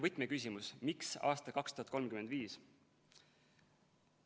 Võtmeküsimus: miks aastal 2035?